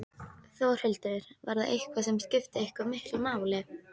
Þórhildur: Var það eitthvað sem skipti eitthvað miklu máli?